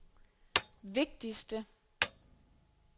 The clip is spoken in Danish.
vigtigste